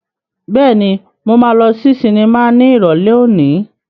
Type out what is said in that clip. Bẹ́ẹ̀ni, mo máa lọ sí sinimá ní Ìrọ̀lẹ́ òní.